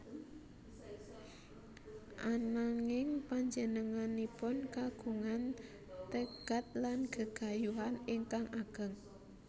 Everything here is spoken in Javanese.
Ananging panjenenganipun kagungan tegad lan gegayuhan ingkang ageng